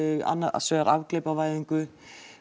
annars vegar afglæpavæðingu